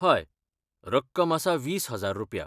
हय, रक्कम आसा वीस हजार रुप्या.